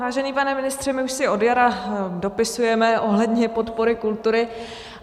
Vážený pane ministře, my už si od jara dopisujeme ohledně podpory kultury.